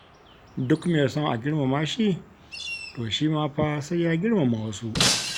Duk mai son a girmama shi, to shi ma fa sai ya girmama wasu.